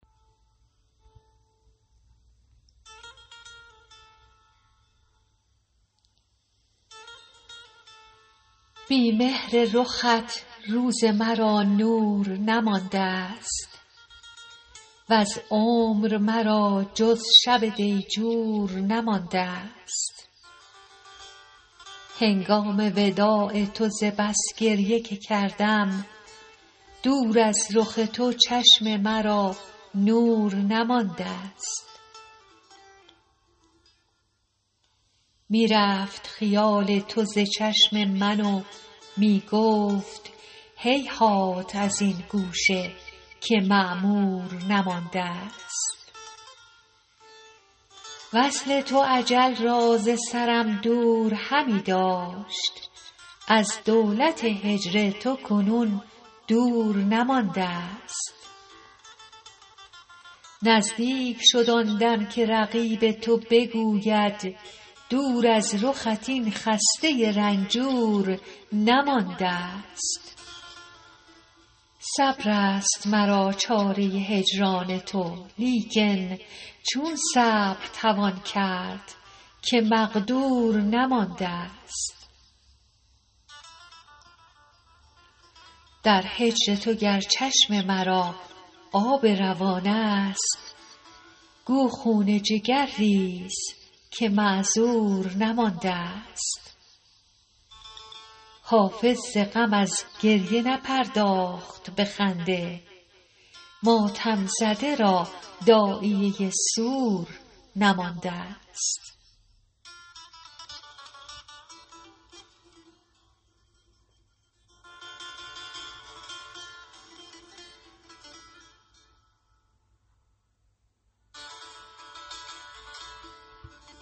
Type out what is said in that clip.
بی مهر رخت روز مرا نور نماندست وز عمر مرا جز شب دیجور نماندست هنگام وداع تو ز بس گریه که کردم دور از رخ تو چشم مرا نور نماندست می رفت خیال تو ز چشم من و می گفت هیهات از این گوشه که معمور نماندست وصل تو اجل را ز سرم دور همی داشت از دولت هجر تو کنون دور نماندست نزدیک شد آن دم که رقیب تو بگوید دور از رخت این خسته رنجور نماندست صبر است مرا چاره هجران تو لیکن چون صبر توان کرد که مقدور نماندست در هجر تو گر چشم مرا آب روان است گو خون جگر ریز که معذور نماندست حافظ ز غم از گریه نپرداخت به خنده ماتم زده را داعیه سور نماندست